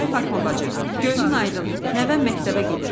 "Ay Fatma bacı, gözün aydın, nəvəm məktəbə gedir.